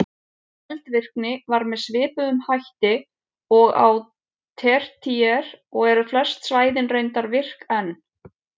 Eldvirkni var með svipuðum hætti og á tertíer og eru flest svæðin reyndar virk enn.